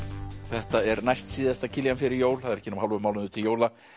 þetta er næstsíðasta Kiljan fyrir jól það er ekki nema hálfur mánuður til jóla